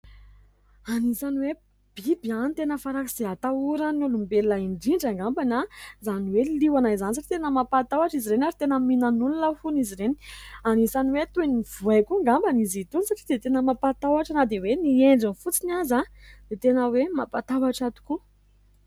Anisan'ny hoe biby tena faran'izay atahoran'ny olombelona indrindra angamba izany hoe liona izany satria tena mampatahotra izy ireny ary tena mihinana olona hono izy ireny. Anisan'ny hoe toy ny voay koa angamba izy itony satria dia tena mampatahotra, na dia hoe ny endriny fotsiny aza dia tena hoe mampatahotra tokoa.